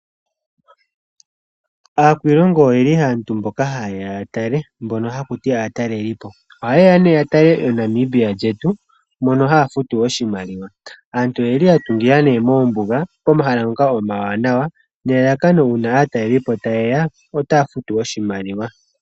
Aakwiilongo oyo aantu mboka ha ye ya ya tale , mbono ha ku tiwa aatalelipo. Oha ye ya nee ya tale Namibia lyetu mono ha ya futu oshimaliwa. Aantu oye li ya tungila nee moombuga pomahala ngoka omawanawa nelalakano aatalelipo shi ta ye ya otaya futu oshimaliwa.